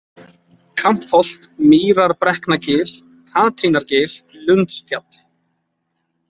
Kampholt, Mýrabrekknagil, Katrínargil, Lundsfjall